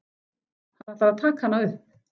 Hann ætlar að taka hana upp.